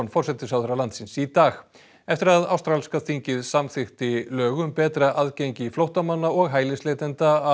forsætisráðherra landsins í dag eftir að ástralska þingið samþykkti lög um betra aðgengi flóttamanna og hælisleitenda að